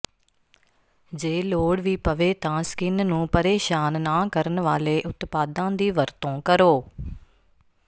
ਜੇ ਲੋੜ ਵੀ ਪਵੇ ਤਾਂ ਸਕਿਨ ਨੂੰ ਪਰੇਸ਼ਾਨ ਨਾ ਕਰਨ ਵਾਲੇ ਉਤਪਾਦਾਂ ਦੀ ਵਰਤੋਂ ਕਰੋ